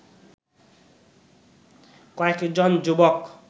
কয়েকজন যুবক